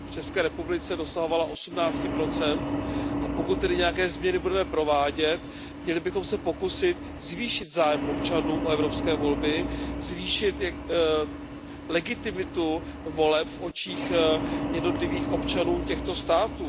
V České republice dosahovala 18 a pokud tedy nějaké změny budeme provádět, měli bychom se pokusit zvýšit zájem občanů o evropské volby, zvýšit legitimitu voleb v očích jednotlivých občanů těchto států.